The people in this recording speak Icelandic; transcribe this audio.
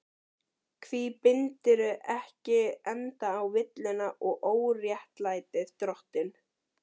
Hví bindurðu ekki enda á villuna og óréttlætið, drottinn?